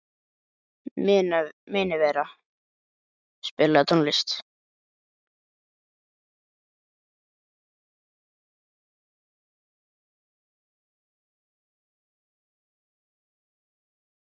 Minerva, spilaðu tónlist.